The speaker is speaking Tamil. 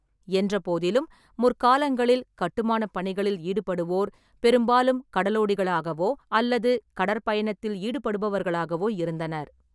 என்றபோதிலும், முற்காலங்களில், கட்டுமானப் பணிகளில் ஈடுபடுவோர் பெரும்பாலும் கடலோடிகளகவோ அல்லது கடற்பயணத்தில் ஈடுபடுபவர்களாகவோ இருந்தனர்.